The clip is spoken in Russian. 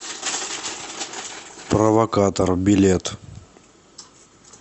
провокатор билет